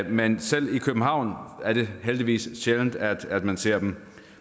men selv i københavn er det heldigvis sjældent at man ser dem